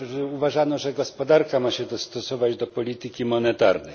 Uważano, że gospodarka ma się dostosować do polityki monetarnej.